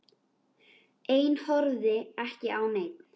Ein horfði ekki á neinn.